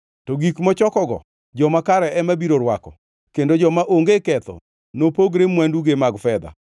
to gik mochokogo joma kare ema biro rwako, kendo joma onge ketho nopogre mwanduge mag fedha.